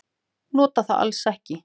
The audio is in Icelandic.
Nota það alls ekki.